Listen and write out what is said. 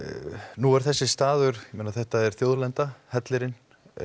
nú er þessi staður þetta er þjóðlenda hellirinn